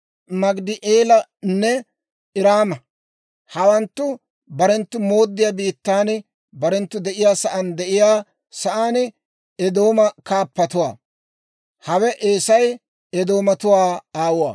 Maagidi'eelanne Iraama. Hawanttu barenttu mooddiyaa biittan, barenttu de'iyaa sa'aan de'iyaa sa'aan Eedooma kaappatuwaa. Hawe Eesay, Eedoomatuwaa aawuwaa.